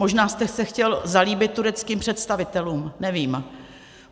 Možná jste se chtěl zalíbit tureckým představitelům, nevím.